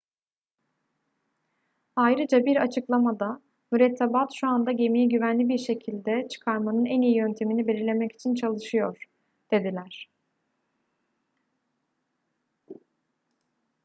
ayrıca bir açıklamada mürettebat şu anda gemiyi güvenli bir şekilde çıkarmanın en iyi yöntemini belirlemek için çalışıyor dediler